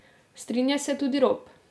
Strinja se tudi Rop.